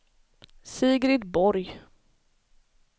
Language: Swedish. Sigrid Borg